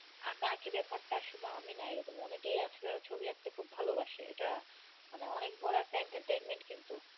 আঁকাআঁকি ব্যাপারটা শুধু আমি না এরকম অনেকেই আছে যারা ছবি আঁকতে খুব ভালোবাসে এটা মানে অনেক বড় একটা entertainment কিন্তু